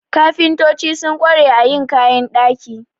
Kafintoci sun ƙware a yin kayan ɗaki.